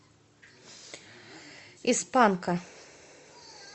из панка